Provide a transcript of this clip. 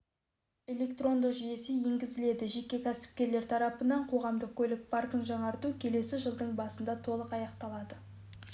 электрондық жүйесі енгізіледі жеке кәсіпкерлер тарапынан қоғамдық көлік паркін жаңарту келесі жылдың басында толық аяқталады